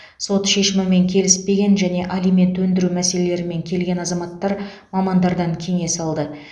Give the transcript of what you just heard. сот шешімімен келіспеген және алимент өндіру мәселелерімен келген азаматтар мамандардан кеңес алды